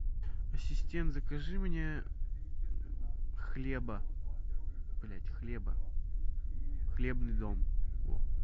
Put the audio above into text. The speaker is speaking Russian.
ассистент закажи мне хлеба блядь хлеба хлебный дом во